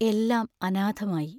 എല്ലാം അനാഥമായി.